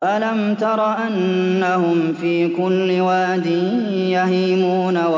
أَلَمْ تَرَ أَنَّهُمْ فِي كُلِّ وَادٍ يَهِيمُونَ